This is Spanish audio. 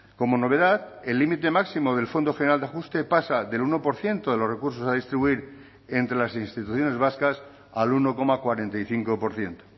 como novedad el límite máximo del fondo general de ajuste pasa del uno por ciento de los recursos a distribuir entre las instituciones vascas al uno coma cuarenta y cinco por ciento